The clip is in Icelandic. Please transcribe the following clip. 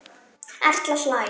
Erla hlær.